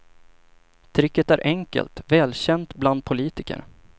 Tricket är enkelt, välkänt bland politiker.